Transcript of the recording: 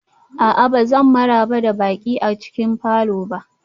A'a, ba zan maraba da baƙi a cikin falor ba